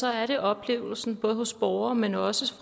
er det oplevelsen både hos borgere men også